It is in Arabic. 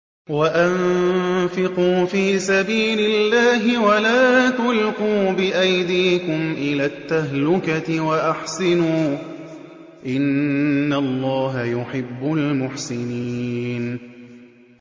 وَأَنفِقُوا فِي سَبِيلِ اللَّهِ وَلَا تُلْقُوا بِأَيْدِيكُمْ إِلَى التَّهْلُكَةِ ۛ وَأَحْسِنُوا ۛ إِنَّ اللَّهَ يُحِبُّ الْمُحْسِنِينَ